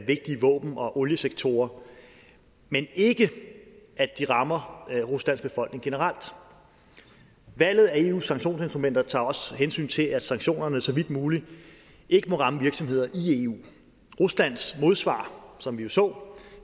vigtige våben og oliesektorer men ikke rammer ruslands befolkning generelt valget af eus sanktionsinstrumenter tager også hensyn til at sanktionerne så vidt muligt ikke må ramme virksomheder i eu ruslands modsvar som vi jo så